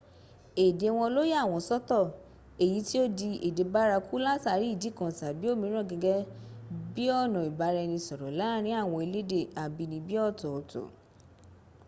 èdè wọn ló yà wọn sọ́tọ̀ èyí tí ó di èdè báraku látàrí ìdí kan tàbí òmíràn gẹ́gẹ́ bíọ̀nà ìbára-ẹni sọ̀rọ̀ láàrín àwọn elédè àbínibí ọ̀tọ̀ọ̀tọ̀